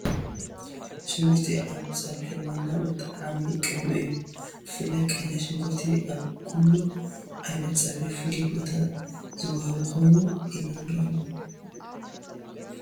ሽጉርቲ ኣብ ፀብሒ ዋና መጠዓዓሚ ቅመም እዩ፡፡ ብፍላይ ቀይሕ ሽጉርቲ ኣብ ኩሉ ዓይነት ፀብሒ ፍሉይ ቦታ ዝወሃቦ ኮይኑ ኢና ንረኽቦ፡፡